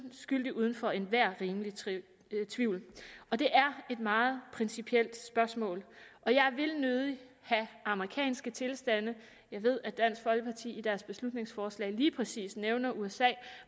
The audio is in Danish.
skyldig uden for enhver rimelig tvivl og det er et meget principielt spørgsmål jeg vil nødig have amerikanske tilstande jeg ved at dansk folkeparti i deres beslutningsforslag lige præcis nævner usa